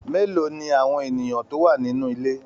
Mélòó ní àwọn ènìyàn tó wà nínú ilé?